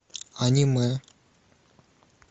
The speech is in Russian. аниме